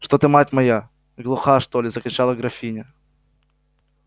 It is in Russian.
что ты мать моя глуха что ли закричала графиня